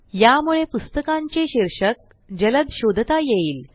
यामुळे पुस्तकांचे शीर्षक जलद शोधता येईल